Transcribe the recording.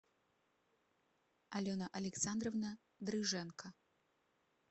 алена александровна дрыженко